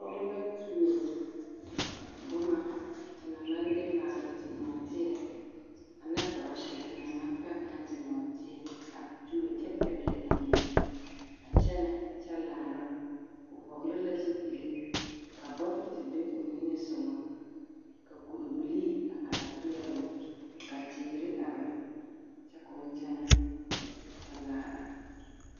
Pɔge la tuo boma te naŋ maŋ de maale te nɔɔteɛ ane borɔse te naŋ maŋ pɛge ne te nɔɔteɛ a tuo kyɛ pɛgele amine a kyɛnɛ kyɛ laara, o hɔgele la zupili ka bogiti be o niŋe sogɔ ka kuri bilii a are peɛloo ka teere are kyɛ k'o kyɛnɛ kyɛ laara.